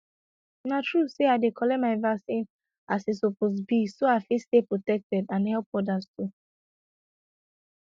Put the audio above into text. na true say i dey collect my vaccine as e suppose be so i fit stay protected and help others too